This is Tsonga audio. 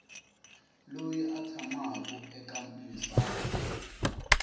loyi a tshamaku eka misava